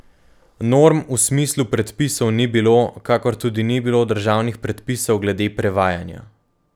Norm v smislu predpisov ni bilo, kakor tudi ni bilo državnih predpisov glede prevajanja.